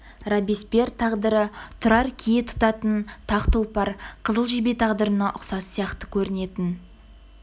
робеспьер тағдыры тұрар кие тұтатын тақ тұлпар қызыл жебе тағдырына ұқсас сияқты көрінетін